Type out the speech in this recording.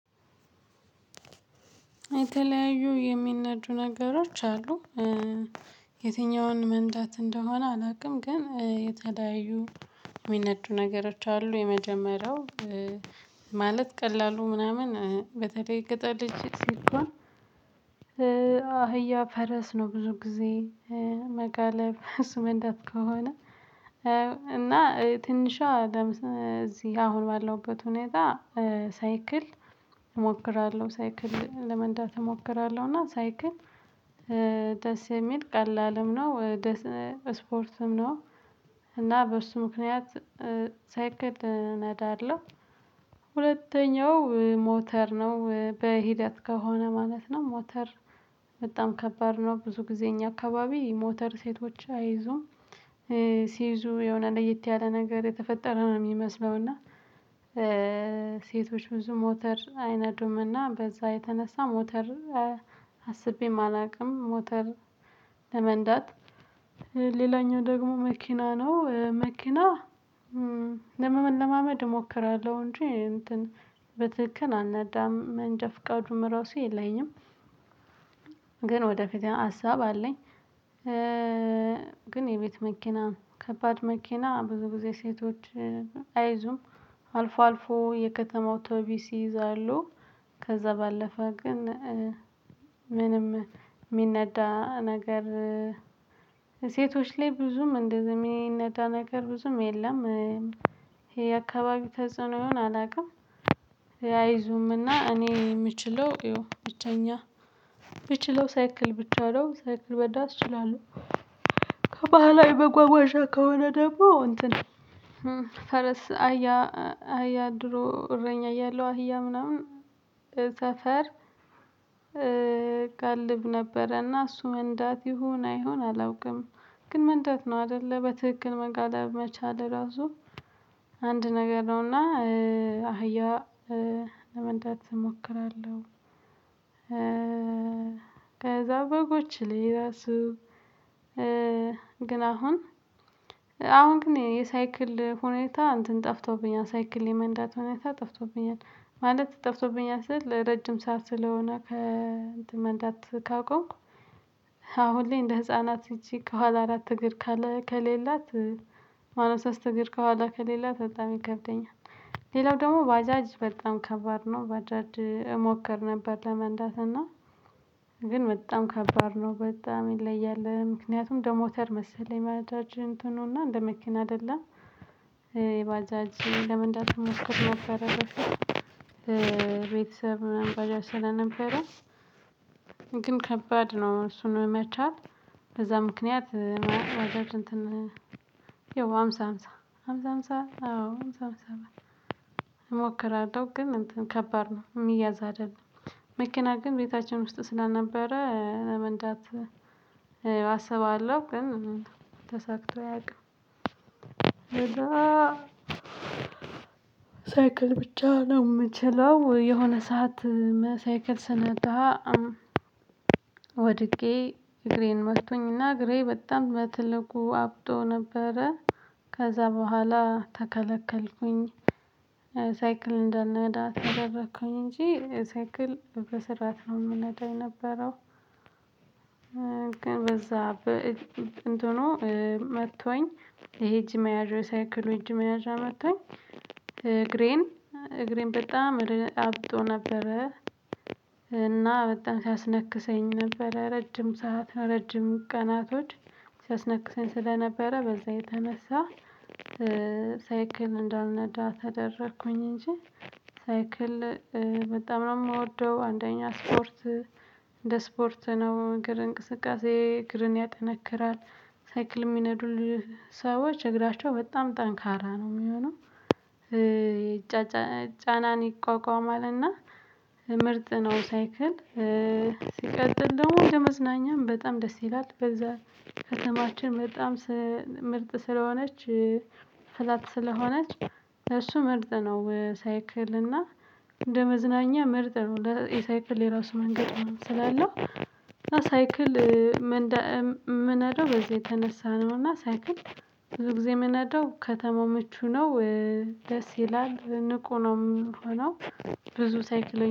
የተለያዩ የሚነዱ ነገሮች አሉ። የትኛውን መንዳት እንደሆነ አላውቅም ግን የተለያዩ የሚነዱ ነገሮች አሉ። የመጀመሪያው ማለት ቀላሉ ምናምን በተለይ የገጠር ልጅ ሲኮን አህያ ፈረስ ነው። ብዙ ጊዜ መጋለብ እሱ መንዳት ከሆነ። እና ትንሿ ለምሳሌ እዚህ አሁን ባለውበት ሁኔታ ሳይክል እሞክራለሁ ሳይክል ለመንዳት እሞክራለሁ። እና ሳይክል ደስ የሚል ቀላልም ነው። ወደ እስፖርትም ነው እና በሱ ምክንያት ሳይክል እነዳለሁ። ሁለተኛው ሞተር ነው በሂደት ከሆነ ማለት ነው። ሞተር በጣም ከባድ ነው ብዙ ጊዜ እኛ አካባቢ ሞተር ሴቶች አይዙም ሲይዙ የሆነ ለየት ያለ ነገር የተፈጠረ ነው። የሚመስለው እና ሴቶች ብዙ ሞተር አይነዱም። እና በዛ የተነሳ ሞተር አስቤም አላውቅም። ሞተር ለመንዳት ሌላኛው ደግሞ መኪና ነው። መኪና ለመለማመድ እሞክራለሁ እንጂ እንትን በትክክል አልነዳም መንጃ ፈቃዱም ራሱ የለኝም። ግን ወደፊት ሀሳብ አለኝ። ግን የቤት መኪና ከባድ መኪና ብዙ ጊዜ ሴቶች አይዙም አልፎ አልፎ የከተማው አውቶቢስ ይይዛሉ። ከዛ ባለፈ ግን ምንም እሚነዳ ነገር ሴቶች ላይ ብዙም እንደዚህ የሚነዳ ነገር ብዙም የለም። ይሄ የአካባቢ ተጽዕኖ ይሆን አላውቅም። አይዙምና እኔ የምችለው ያው ብቸኛ የምችለው ሳይክል ብቻ ነው ሳይክል መንዳት እችላለሁ። ከባህላዊ በጓጓዣ ከሆነ ደግሞ እንትን ፈረስ አህያ አህያ ድሮ እረኛ ያለው አህያ ምናምን እ ሰፈር እጋልብ ነበረና እሱ መንዳት ይሁን አይሁን አላውቅም። ግን መንዳት ነው አይደለ በትክክል መጋለብ መቻል ራሱ አንድ ነገር ነውና አህያ ለመንዳት እሞክራለሁ። ከዛ በጎች ላይ ራሱ ግን አሁን አሁን ግን የሳይክል ሁኔታ እንትን ጠፍቶብኛል ሳይክል የመንዳት ሁኔታ ጠፍቶብኛል። ማለት ጠፍቶብኛል ረጅም ሰዓት ስለሆነ ከእንትን መንዳት ካቆምኩ። አሁን ላይ እንደ ህፃናት እጅግ ከኋላ አራት እግር ከሌላት ባለሶስት እግር ከኋላ ከሌላት በጣም ይከብደኛል። ሌላው ደግሞ ባጃጅ በጣም ከባድ ነው። ባጃጅ እሞክር ነበር ለመንዳት እና ግን በጣም ከባድ ነው በጣም ይለያል ምክንያቱም እንደሞተር መሰለኝ ባጃጂ እንትኑና እንደ መኪና አይደለም። የባጃጅ ለመንዳት እሞክር ነበረ በፊት የቤተሰብ ባጃጂ ስለነበረ። ግን ከባድ ነው እሱን መቻል። በዛ ምክንያት ባጃጅ እንትን ያው ሃምሳ ሃምሳ ሃምሳ ሃምሳ አዎ ሃምሳ ሃምሳ እሞክራለሁ ግን እንትን ከባድ ነው የሚያዝ አይደለም። መኪና ግን ቤታችን ውስጥ ስለነበረ ለመንዳት አስባለሁ ግን ተሳክቶ ያውቅም። ሳይክል ብቻ ነው። እምችለው የሆነ ሰዓት ሳይክል ስነዳ ወድቄ እግሬን መቶኝና እግሬ በጣም በትልቁ አብጦ ነበረ። ከዛ በኋላ ተከለከልኩኝ። ሳይክል እንዳልነዳ ተደረኩኝ እንጂ ሳይክል በስርዓት ነው የምነዳው የነበረው። ግን በዛ እንትኑ መቶኝ ይሄ እጂ መያዥ የሳይክሉ እጅ መያዥ መቶኝ እግሬን እግሬን በጣም አብጦ ነበረ። እና በጣም ሲያስነክሰኝ ነበረ ረጅም ሰዓት ረጅም ቀናቶች ሲያስነክሰኝ ስለነበረ በዛ የተነሳ። ሳይክል እንዳልነዳ ተደረኩኝ እንጂ። ሳይክል በጣም ነው የምወደው አንደኛ ስፖርት እንደ ስፖርት ነው እንቅስቃሴ እግርን ያጠነክራል። ሳይክል የሚነዱልህ ሰዎች እግራቸው በጣም ጠንካራ ነው የሚሆነው። ጫናን ይቋቋማል እና ምርጥ ነው። ሳይክል ሲቀጥል ደግሞ ለመዝናኛም በጣም ደስ ይላል። በዛ ከተማችን በጣም ምርጥ ስለሆነች ፍላት ስለሆነች እሱ ምርጥ ነው። ሳይክል እና እንደ መዝናኛ ምርጥ ነው። የሳይክል የራሱ መንገድ ስላለው እምነዳው በዚህ የተነሳ ነው። እና ሳይክል ብዙ ጊዜ እምነዳው ከተማው ምቹ ነው። ደስ ይላል ንቁ ነው እምሆነው። ብዙ ሳይክል